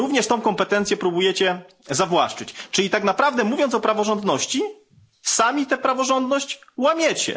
Również tę kompetencję próbujecie zawłaszczyć, czyli tak naprawdę, mówiąc o praworządności, sami tę praworządność łamiecie.